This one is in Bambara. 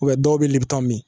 dɔw bɛ min